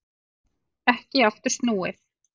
Ekki aftur snúið